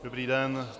Dobrý den.